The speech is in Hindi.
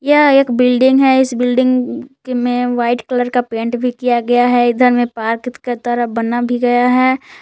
यह एक बिल्डिंग है इस बिल्डिंग में वाइट कलर का पेंट भी किया गया है इधर में पार्क की तरह बना भी गया है।